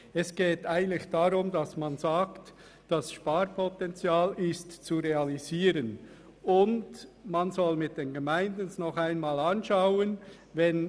Es geht eigentlich darum, dass man das mit den Gemeinden noch einmal anschaut und das Sparpotenzial realisiert.